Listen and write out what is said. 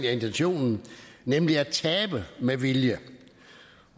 er intentionen nemlig at tabe med vilje